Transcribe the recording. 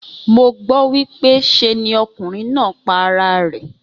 Mo gbó wípé se ni okùnrin náà pa ara rè